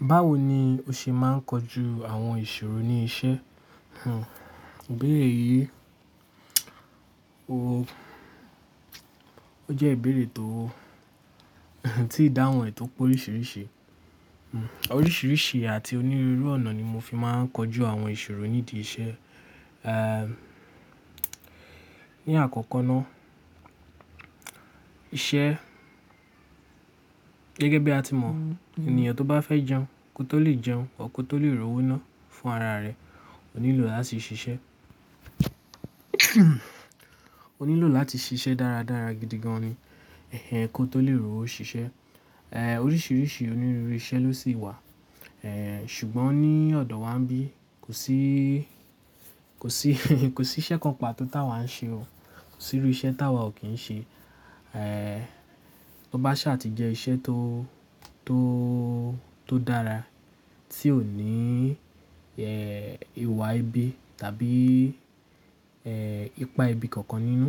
Báwo ni o ṣe máa ń kojú àwọn ìṣòro ní iṣẹ́? Hmm, ìbéèrè yìí, o, ó jẹ́ ìbéèrè tó, tí ìdáhùn ẹ́ tó pé oríṣiríṣi. Hmm. Oríṣiríṣi àti onírúurú ọ̀nà ni mo fi máa ń kojú àwọn ìṣòro nídi iṣẹ́. Eh, ní àkọ́kọ́ ná, iṣẹ́ gẹ́gẹ́ bí a ti mọ̀, ènìyàn tó bá fẹ́ jẹun kó tó lè jẹun, kó tó lè r'owó ná fún ara rẹ̀, ònílò láti ṣiṣẹ́. Ó nílò láti ṣiṣẹ́ dára dára gidi gan ni, ẹhẹ kó tó lè r'owo ṣiṣẹ́. Eh, oríṣiríṣi onírúurú iṣẹ́ ló sì wà. Eh, ṣùgbọ́n ní ọ̀dọ̀ wa ńbí, kò sí, kò sí, kò sí iṣẹ́ kan pa tó tá wa ń ṣe o. Kò sí irú iṣẹ́ tá wa ò kí ń ṣe. Eh, tó bá ṣá ti jẹ iṣẹ́ tó, tó, tó dára tí ò ní, ẹ́ẹ́ ìwà ibi tàbí ẹ́ẹ́ ipá ibi kankan nínú,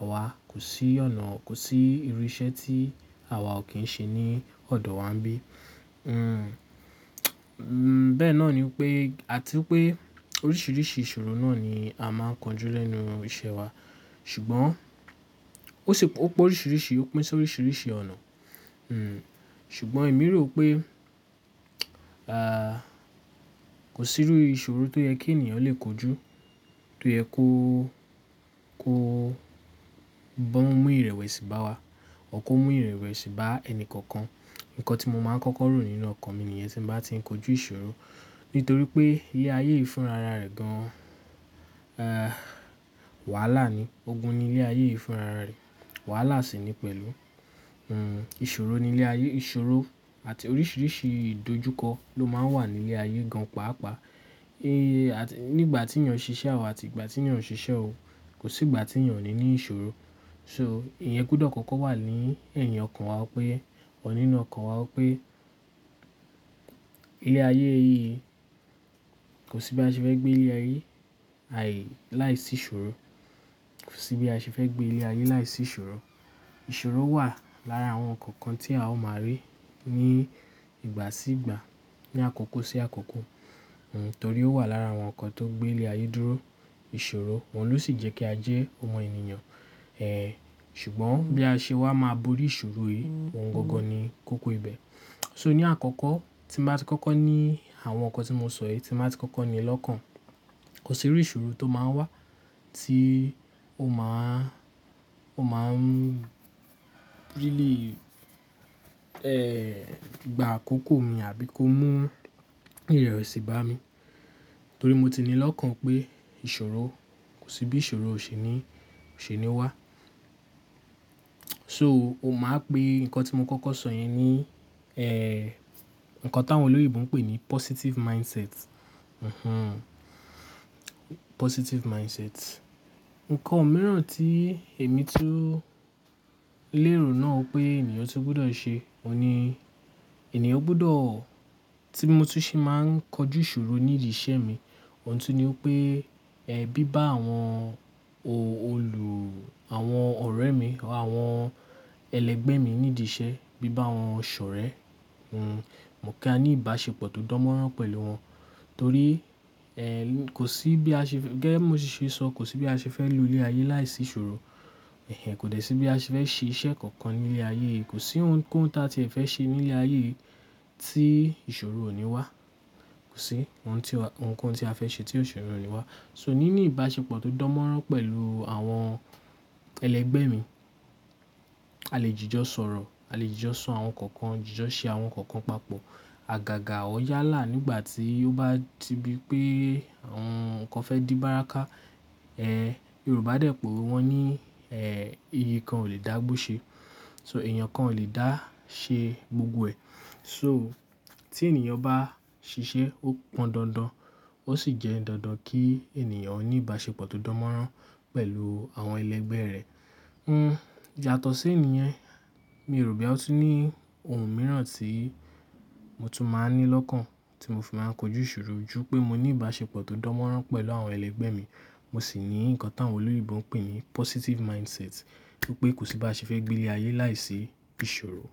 àwa kò sí ọ̀nà, kò sí irú iṣẹ́ tí àwa ò kí ń ṣe ní ọ̀dọ̀ wa ńbí. Hmm, bẹ́ẹ̀ náà ni pé, àti pé oríṣiríṣi ìṣòro náà ni a máa ń kojú lẹ́nu iṣẹ́ wa. Ṣùgbọ́n ó ṣe, ó pé oríṣiríṣi, ó pín sí oríṣiríṣi ọ̀nà. Hmm, ṣùgbọ́n èmi rò pé, kò sí irú ìṣòro tó yẹ kí ènìyàn lè kojú, tó yẹ kó, kó bá mú ìrẹ̀wẹ̀sì bá wa, or kó mú ìrẹ̀wẹ̀sì bá ẹni kankan. Ǹkan tí mo máa ń kọ́kọ́ rò nínú ọkàn mi nìyẹn tí mo bá ti ń kojú ìṣòro. Nítorí pé ilé ayé fún ara rẹ̀ gan, eh, wàhálà ni. Ogun ni ilé ayé fún ara rẹ̀, wàhálà sì ni pẹ̀lú. Hmm, ìṣòro ni ilé ayé, ìṣòro àti oríṣiríṣi ìdojúkọ ló máa ń wà ní ilé ayé gan pàápàá. Eh, àti nígbà tí ènìyàn ń ṣiṣẹ́ àwọ̀ àti ìgbà tí ènìyàn kò ṣiṣẹ́ o, kò sí ìgbà tí ènìyàn ò ní ní ìṣòro. So ìyẹn gbọdọ̀ kọ́kọ́ wà ní ẹ̀yin ọkàn wa pé, or nínú ọkàn wa pé ilé ayé yìí kò sí bí a ṣe fẹ́ gbé ilé ayé yìí, àì láìsí ìṣòro. Kò sí bí a ṣe fẹ́ gbé ilé ayé láìsí ìṣòro. Ìṣòro wà lára àwọn ǹkan kan tí a ó máa rí ní ìgbà sí ìgbà, ní àkókó sí àkókó. Hmm, torí ó wà lára àwọn ǹkan tó gbé ilé ayé dúró. Ìṣòro wọ̀ń ló sì jẹ́ kí a jẹ́ ọmọ ènìyàn. Eh, ṣùgbọ́n bí a ṣe wà máa bori ìṣòro yìí, òun gangan ni kókó ibẹ̀. So ní àkọ́kọ́, tí mo bá ti kọ́kọ́ ní àwọn ǹkan tí mo sọ yìí, tí mo bá ti kọ́kọ́ ní lọ́kàn, kò sí irú ìṣòro tó máa ń wá tí ó máa ń, ó máa ń really, eh, gba àkókò mi àbí kó mú ìrẹ̀wẹ̀sì bá mi. Torí mo ti ní lọ́kàn pé ìṣòro, kò sí bí ìṣòro ò ṣe ni, ò ṣe ni ó wá. So o máa ń pe ǹkan tí mo kọ́kọ́ sọ yìí ni, eh, ǹkan táwọn olòyìnbó ń pè ní positive mindset. Mhm, positive mindset. Ǹkan mìíràn tí èmi tún lérò náà pé ènìyàn tún gbọdọ̀ ṣe òun ni, ènìyàn gbọdọ̀ tí mo tún ṣe máa ń kojú ìṣòro nídi iṣẹ́ mi, òun tún ni pé, ẹ bí bá àwọn òòlù, àwọn ọ̀rẹ́ mi, àwọn ẹlẹgbẹ́ mi nídi iṣẹ́, bí bá wọn ṣ'òrẹ́, hmm, mo kí á ní ìbáṣepọ̀ tó dánmọ́rán pẹ̀lú wọn. Torí, eh, kò sí bí a ṣe fẹ́, gẹ́ mo ti ṣe sọ, kò sí bí a ṣe fẹ́ lo ilé ayé láìsí ìṣòro. Ẹ̀hẹn, kò dẹ sí bí a ṣe fẹ́ ṣe iṣẹ́ kankan ní ilé ayé yìí. Kò sí ohunkóhun tá tí ẹ fẹ́ ṣe ní ilé ayé yìí tí ìṣòro ò ní wá. Kò sí ohunkóhun tí a fẹ́ ṣe tí ìṣòro ò ní wá. So níní ìbáṣepọ̀ tó dánmọ́rán pẹ̀lú àwọn ẹlẹgbẹ́ mi, a lè jìjọ sọ̀rọ̀, a lè jìjọ sọ àwọn ǹkan kan, jìjọ ṣe àwọn ǹkan kan papọ̀. Àgàgà ọ́ yálà nígbà tí ó bá ti di pé àwọn ǹkan fẹ́ di báraká, eh, Yorùbá dẹ̀ p'òwe wọ́n ní, eh, igi kan ò lè dá'gbó ṣe. So èèyàn kan ò lè dá ṣe gbogbo ẹ̀. So tí ènìyàn bá ṣiṣẹ́, ó pọn dandan. Ó sì jẹ́ dandan kí ènìyàn ní ìbáṣepọ̀ tó dánmọ́rán pẹ̀lú àwọn ẹlẹgbẹ́ rẹ̀. Hmm, yatọ̀ sí ìyẹn, mi rò pé ó tún ní ohun mìíràn tí mo tún máa ń ní lọ́kàn tí mo fi máa ń kojú ìṣòro ju pé mo ní ìbáṣepọ̀ tó dánmọ́rán pẹ̀lú àwọn ẹlẹgbẹ́ mi, mo sì ní ǹkan táwọn olòyìnbó ń pè ní positive mindset. Wípé kò sí bí a ṣe fẹ́ gbé ilé ayé láìsí ìṣòro.